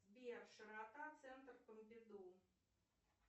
сбер широта центр помпиду